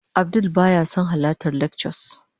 Abdul baya son halartar lectures